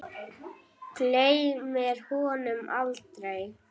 Gleymir honum aldrei.